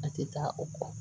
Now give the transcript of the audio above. A tɛ taa o kɔ